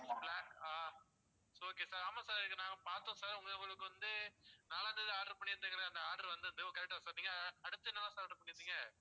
six black ஆ okay sir ஆமாம் sir இங்க நான் பார்த்தோம் sir உங்களுக்கு உங்களுக்கு வந்து நாலாந்தேதி order பண்ணி இருந்தீங்க அந்த order வந்திருந்தது correct ஆ சொன்னீங்க அடுத்து என்ன order sir பண்ணி இருந்தீங்க.